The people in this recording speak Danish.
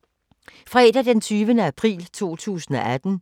Fredag d. 20. april 2018